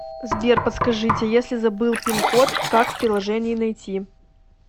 сбер подскажите если забыл пин код как в приложении найти